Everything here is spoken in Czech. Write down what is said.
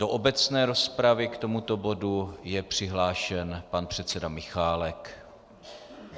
Do obecné rozpravy k tomuto bodu je přihlášen pan předseda Michálek.